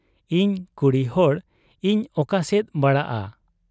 ᱤᱧ ᱠᱩᱲᱤᱦᱚᱲ ᱤᱧ ᱚᱠᱟᱥᱮᱫ ᱵᱟᱲᱟᱜ ᱟ ᱾